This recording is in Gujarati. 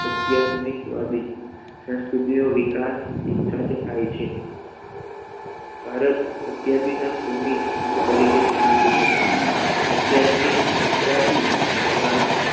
અધ્યાત્મિક વાદી સંસ્કૃતિનો વિકાસ એક સાથે થાય છે ભારત અધ્યાત્મિક ભૂમિ અનેક તરીકે જણાવ્યું છે અધ્યાત્મિકતાથી ભારતીય